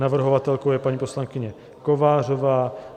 Navrhovatelkou je paní poslankyně Kovářová.